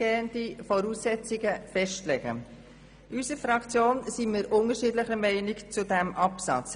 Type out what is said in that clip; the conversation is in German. In unserer Fraktion sind wir unterschiedlicher Meinung zu diesem Absatz.